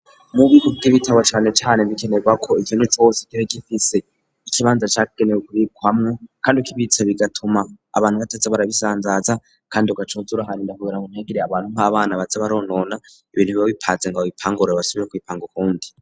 Mubi ku vy'ibitabo canecane bikenerwa ko ivyo ni tzo wose ikira gifise ikibanza cakigenewe kubikwamwo, kandi uk ibitsa bigatuma abantu bataza barabisanzaza, kandi ugacozuruhana indahuura mo ntegerey abantu m'abana baza baronona ibintu biba bipaze ngo bbipangurura basubiye kwipanga ukundi.